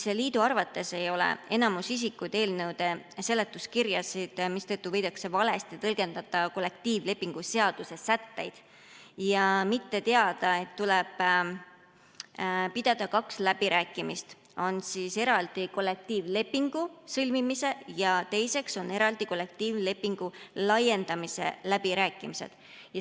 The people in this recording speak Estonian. Liidu arvates ei loe enamus isikuid eelnõude seletuskirjasid, mistõttu võidakse valesti tõlgendada kollektiivlepingu seaduse sätteid ja mitte teada, et tuleb pidada kahed läbirääkimised: on eraldi kollektiivlepingu sõlmimise ja eraldi kollektiivlepingu laiendamise läbirääkimised.